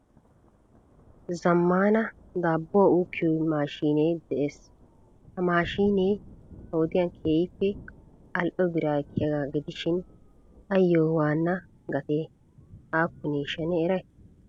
Zammana daabbuwa ukkiyo maashine de'ees. Ha maashinee ha wodiyan keehippe ali"o biraa ekiyaaga gidishin ayyo waana gatee aappineshsha ne eray?